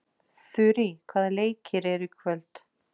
Þurý, hvaða leikir eru í kvöld?